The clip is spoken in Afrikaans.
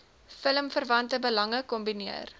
filmverwante belange kombineer